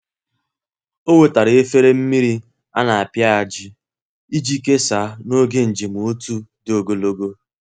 Ọ wetara efere mmiri a na-apịaji iji kesaa n’oge njem otu dị ogologo.